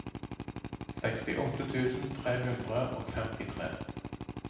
sekstiåtte tusen tre hundre og femtitre